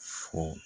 Fo